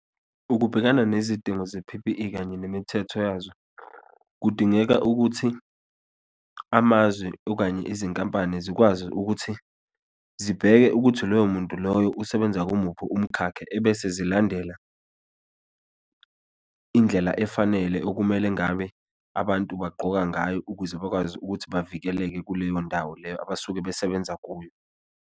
Ukubhekana nezidingo ze-P_P_E kanye nemithetho yazo, kudingeka ukuthi amazwi okanye izinkampani zikwazi ukuthi zibheke ukuthi loyo muntu loyo usebenza kumuphi umkhakha, ebese zilandela indlela efanele okumele ngabe abantu bagqoka ngayo ukuze bakwazi ukuthi bavikeleke, kuleyo ndawo leyo abasuke besebenza kuyo.